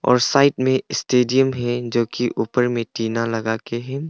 और साइड में स्टेडियम है जो कि ऊपर में टीना लगा के है।